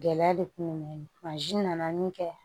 Gɛlɛya de kun bɛ n na nana min kɛ